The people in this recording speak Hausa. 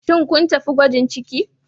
Shin kun tafi gwajin ciki